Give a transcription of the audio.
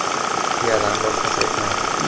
Tuyadan boshqasi o‘tmaydi.